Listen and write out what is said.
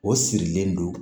O sirilen don